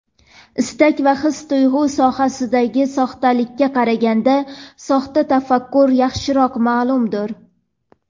Istak va his-tuyg‘u sohasidagi soxtalikka qaraganda soxta tafakkur yaxshiroq ma’lumdir.